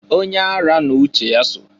Onye ara n'uche ya so.